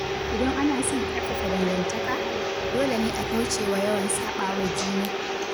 Idan ana son ƙarfafa dangantaka, dole ne a kaucewa yawan saɓawa juna.